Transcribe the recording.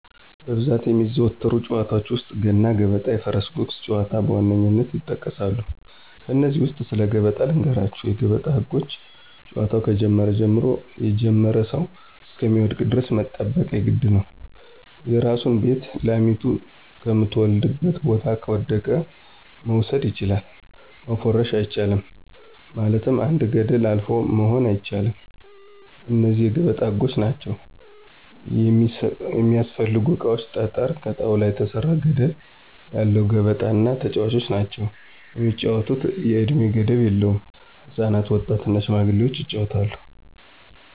በብዛት የሚዘወተሩ ጨዋታዎች ውስጥ፦ ገና ገበጣ የፈረስ ጉጉስ ጨዋታዎች በዋነኝነት ይጠቀሳሉ። ከነዚህ ውስጥ ስለ ገበጣ ልንገራችሁ የገበጣ ህጎች ጨዋታው ከጀመረ ጀምሮ የጀመረው ሰው እሰሚወድቅ ደረስ መጠበቅ የግድ ነው፦ የራሲን ቤት ላሚቶ ከምተወልድበት ቦታ ከወደቀ መውሰድ ችላል፣ መፎረሽ አቻልም ማለትም አንድን ገደል አልፎ መሆድ አይቻል እነዚህ የገበጣ ህጎች ናቸው። የሚስፈልጉ እቃዎች ጠጠረ፣ ከጣውላ የተሰራ ገደለ ያለው ገበጣ እና ተጨዋቾች ናቸው። የሚጫወቱት የእድሜ ገደብ የለውም ህፃናት፣ ወጣት እና ሽማግሌዎች ይጫወቱታል።